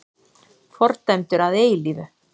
Fordæmdur að eilífu!